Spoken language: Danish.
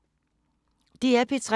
DR P3